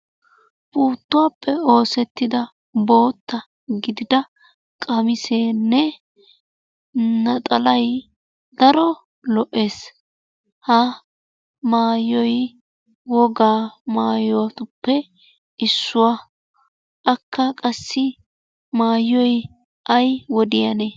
Puutuwappe oosetidda bootta gidida qamissenne naxalay daro lo"essi. Ha maayyoy woga maayyotuppe issuwaa. Aakka qassi maayyiyo ay wodiyaanne?